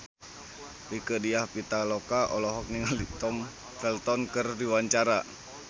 Rieke Diah Pitaloka olohok ningali Tom Felton keur diwawancara